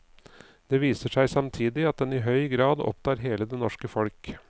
Det viser seg samtidig at den i høy grad opptar hele det norske folk.